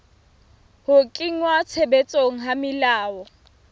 ho kenngwa tshebetsong ha melao